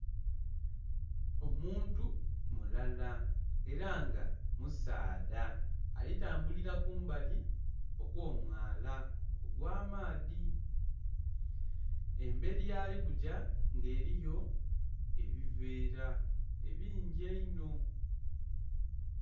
Omuntu mulala era nga musaadha. Ali tambulira kumbali okwo mwaala ogwa maadhi. Emberi yali kujja nga eriyo ebivera ebingi einho